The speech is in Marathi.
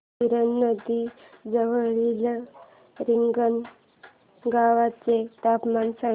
गिरणा नदी जवळील रिंगणगावाचे तापमान सांगा